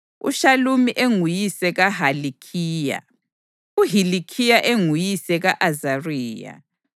uShalumi enguyise kaHilikhiya, uHilikhiya enguyise ka-Azariya,